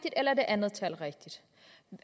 eller er det andet tal rigtigt